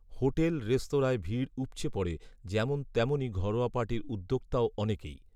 Hotel রেস্তোরাঁয় ভিড় উপচে পড়ে যেমন তেমনই ঘরোয়া পার্টির উদোক্তাও অনেকেই।